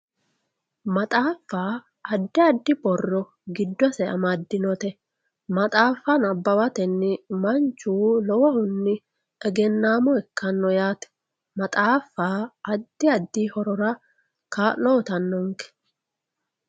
maxaaffa addi addi borre giddose amaddinote maxaaffa nabbawatenni manchu lowohunni egennammo ikkanno yaate maxaaffa addi addi horora kaa'lo uyiitannonke.